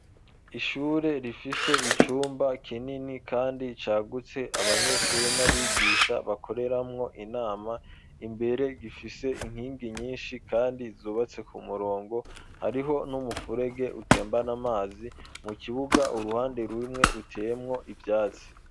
Ishure, rifise icumba kinini, kandi cagutse, abanyeshure n'abigisha, bakoreramwo, inama; imbere, gifise inkingi nyinshi, kandi zubatse ku murongo; hariho n'umufurege, utembana amazi; mu kibuga, uruhande rumwe, ruteyemwo ivyatsi.